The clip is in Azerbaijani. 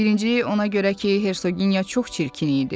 Birinci ona görə ki, Hersoginya çox çirkin idi.